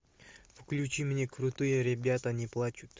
включи мне крутые ребята не плачут